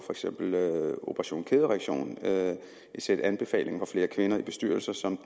operation kædereaktion et sæt anbefalinger fra flere kvinder i bestyrelser som